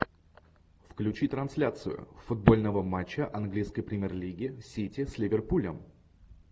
включи трансляцию футбольного матча английской премьер лиги сити с ливерпулем